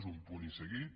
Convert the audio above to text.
és un punt i seguit